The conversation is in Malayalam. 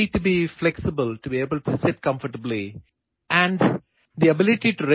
അതോടൊപ്പം നിങ്ങൾക്ക് ഫ്ളെക്സിബിളായും ആശ്വാസത്തോടെയും നിലകൊള്ളാൻ കഴിയണം